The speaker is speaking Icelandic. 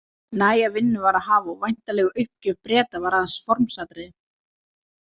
Næga vinnu var að hafa og væntanleg uppgjöf Breta var aðeins formsatriði.